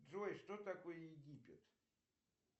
джой что такое египет